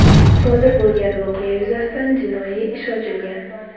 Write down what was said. Sodir bo‘lgan voqea yuzasidan jinoiy ish ochilgan.